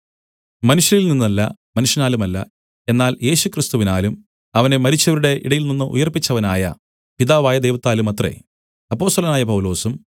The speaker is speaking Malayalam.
മനുഷ്യരിൽ നിന്നല്ല മനുഷ്യനാലുമല്ല എന്നാൽ യേശുക്രിസ്തുവിനാലും അവനെ മരിച്ചവരുടെ ഇടയിൽനിന്ന് ഉയിർപ്പിച്ചവനായ പിതാവായ ദൈവത്താലുമത്രേ അപ്പൊസ്തലനായ പൗലൊസും